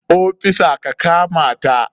Ofisa ka kamata!